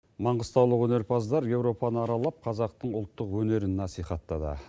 маңғыстаулық өнерпаздар европаны аралап қазақтың ұлттық өнерін насихаттады